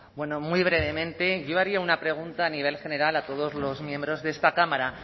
bueno muy brevemente yo haría una pregunta a nivel general a todos los miembros de esta cámara